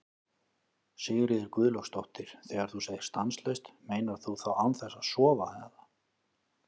Sigríður Guðlaugsdóttir: Þegar þú segir stanslaust, meinar þú þá án þess að sofa eða?